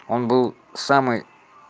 он был самый